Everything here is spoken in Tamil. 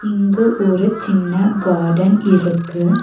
இங்கு ஒரு சின்ன காடன் இருக்கு.